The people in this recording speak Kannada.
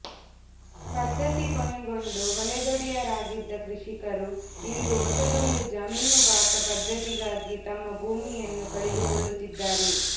ಪದ್ಧತಿ ಕೊನೆಗೊಂಡು ಹೊಲದೊಡೆಯರಾಗಿದ್ದ ಕೃಷಿಕರು ಇಂದು ಹೊಸದೊಂದು ಜಮೀನುಬಾಕ ಪದ್ಧತಿಗಾಗಿ ತಮ್ಮ ಭೂಮಿಯನ್ನು ಕಳೆದುಕೊಳ್ಳುತ್ತಿದ್ದಾರೆ